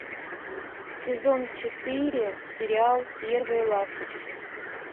сезон четыре сериал первые ласточки